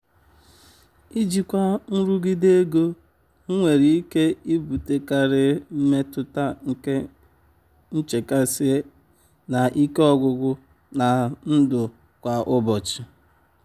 ijikwa nrụgide ego nwere ike ibutekarị mmetụta nke nchekasị na ike ọgwụgwụ na ndụ kwa ụbọchị.